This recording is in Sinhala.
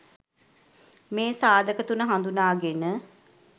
මේ සාධක තුන හඳුනාගෙන